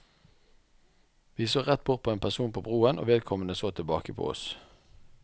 Vi så rett bort på en person på broen, og vedkommende så tilbake på oss.